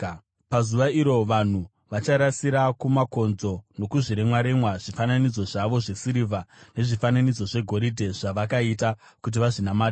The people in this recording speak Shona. Pazuva iro vanhu vacharasira kumakonzo nokuzviremwaremwa, zvifananidzo zvavo zvesirivha nezvifananidzo zvegoridhe, zvavakaita kuti vazvinamate.